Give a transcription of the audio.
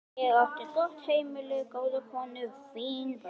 Ég átti gott heimili, góða konu, fín börn.